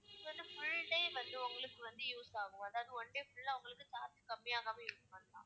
இது வந்து full day வந்து உங்களுக்கு வந்து use ஆகும் அதாவது one day full ஆ உங்களுக்கு charge கம்மி ஆகாம இருக்கும் ma'am